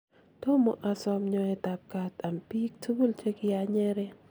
tomo asom nyoetab kaat am biik tugul che kianyeren